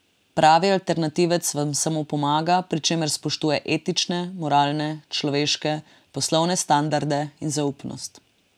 Pravi alternativec vam samo pomaga, pri čemer spoštuje etične, moralne, človeške, poslovne standarde in zaupnost.